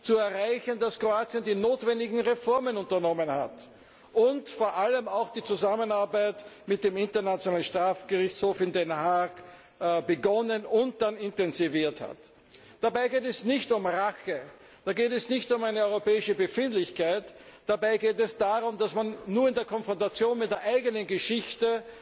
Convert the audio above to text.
zu erreichen, dass Kroatien die notwendigen Reformen unternommen und vor allem auch die Zusammenarbeit mit dem Internationalen Strafgerichtshof in Den Haag begonnen und später intensiviert hat. Dabei geht es nicht um Rache, da geht es nicht um eine europäische Befindlichkeit, sondern darum, dass man nur in der Auseinandersetzung mit der eigenen Geschichte